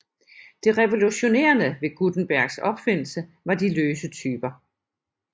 Det revolutionerende ved Gutenbergs opfindelse var de løse typer